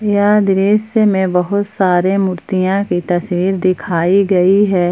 यह दृश्य में बहुत सारे मूर्तियां की तस्वीर दिखाई गई है।